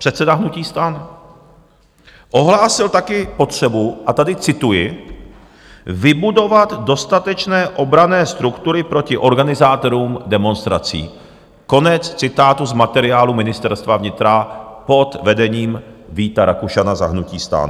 Předseda hnutí STAN ohlásil také potřebu, a tady cituji, "vybudovat dostatečné obranné struktury proti organizátorům demonstrací", konec citátu z materiálu Ministerstva vnitra pod vedením Víta Rakušana za hnutí STAN.